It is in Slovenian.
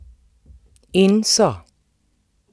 In so!